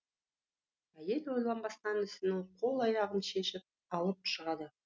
әйел ойланбастан інісінің қол аяғын шешіп алып шығады